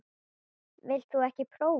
Vilt þú ekki prófa?